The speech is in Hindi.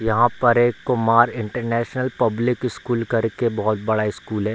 यहां पर एक कुमार इंटरनेशनल पब्लिक स्कूल करके बहुत बड़ा स्कूल है।